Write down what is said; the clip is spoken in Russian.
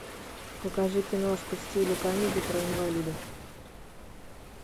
покажи киношку в стиле камеди про инвалидов